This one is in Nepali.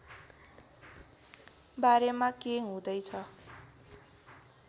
बारेमा के हुँदै छ